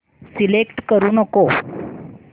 select करू नको